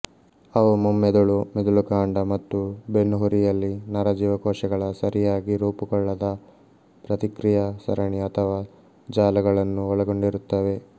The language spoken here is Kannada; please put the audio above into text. ಅವು ಮುಮ್ಮೆದುಳು ಮಿದುಳುಕಾಂಡ ಮತ್ತು ಬೆನ್ನು ಹುರಿಯಲ್ಲಿ ನರ ಜೀವಕೋಶಗಳ ಸರಿಯಾಗಿ ರೂಪುಗೊಳ್ಳದ ಪ್ರತಿಕ್ರಿಯಾ ಸರಣಿ ಅಥವಾ ಜಾಲಗಳನ್ನು ಒಳಗೊಂಡಿರುತ್ತವೆ